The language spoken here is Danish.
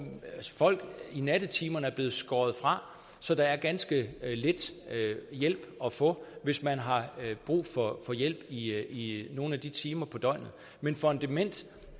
folk i nattetimerne er blevet skåret fra så der er ganske lidt hjælp at få hvis man har brug for hjælp i nogle af de timer på døgnet men for en dement